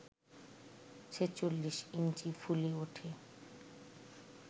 ছেচল্লিশ ইঞ্চি ফুলে ওঠে